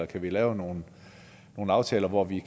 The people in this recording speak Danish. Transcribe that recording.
kan lave nogle aftaler hvor de